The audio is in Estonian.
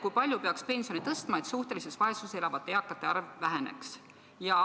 Kui palju peaks pensione tõstma, et suhtelises vaesuses elavate eakate arv väheneks?